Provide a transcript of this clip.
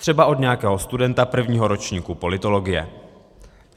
Třeba od nějakého studenta prvního ročníku politologie.